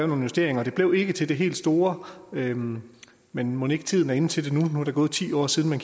nogle justeringer og det blev ikke til det helt store men men mon ikke tiden er inde til det nu er gået ti år siden man